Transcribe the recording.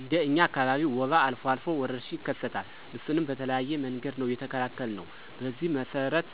እንደ እኛ አካባቢ ወባ አልፎ አልፎ ወረርሽኝ ይከሰታል እሱንም በተለያየ መንገድ ነው የተከላከልነው። በዚህ መሰረት